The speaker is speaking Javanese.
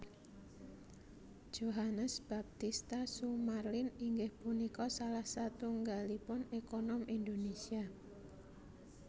Johannes Baptista Sumarlin inggih punika salah satunggalipun èkonom Indonésia